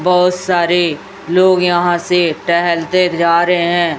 बहुत सारे लोग यहां से टहलते जा रहे हैं।